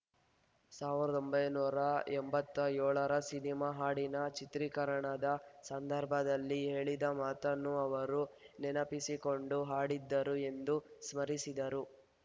ಸಾವಿರದ ಒಂಬೈನೂರ ಎಂಬತ್ತೆಳ ರ ಸಿನಿಮಾ ಹಾಡಿನ ಚಿತ್ರೀಕರಣದ ಸಂದರ್ಭದಲ್ಲಿ ಹೇಳಿದ ಮಾತನ್ನು ಅವರು ನೆನಪಿಸಿಕೊಂಡು ಹಾಡಿದ್ದರು ಎಂದು ಸ್ಮರಿಸಿದರು